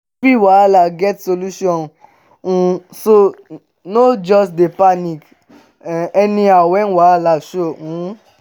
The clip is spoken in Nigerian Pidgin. evri wahala get solution um so no jus dey panic um anyhow wen wahala show um